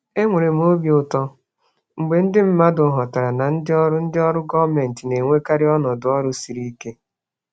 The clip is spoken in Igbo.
Enwere m obi ụtọ mgbe ndị mmadụ ghọtara na ndị ọrụ ndị ọrụ gọọmentị na-enwekarị ọnọdụ ọrụ siri ike.